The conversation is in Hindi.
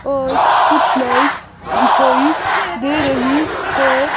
और कुछ लाइट्स दिखाई दे रही है.